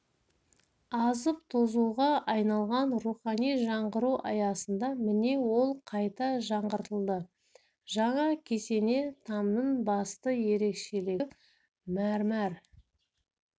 азып-тозуға айналған рухани жаңғыру аясында міне ол қайта жаңғыртылды жаңа кесене тамның басты ерекшелігі мәрмәр